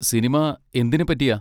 Cinema എന്തിനെ പറ്റിയാ?